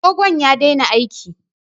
Agogon ya daina aiki